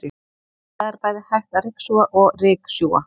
Það er bæði hægt að ryksuga og ryksjúga.